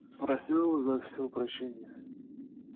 попросил за все прощения